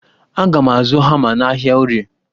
Aga m azụ hama n'ahịa orie.